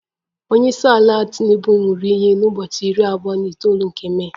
Onye isi ala tinubu ṅụrụ iyi na ubochi iri abuo na itoolu nke Mee